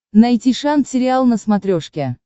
найти шант сериал на смотрешке